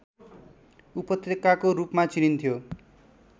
उपत्यकाको रूपमा चिनिन्थ्यो